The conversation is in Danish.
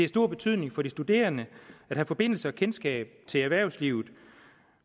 stor betydning for de studerende at have forbindelse og kendskab til det erhvervsliv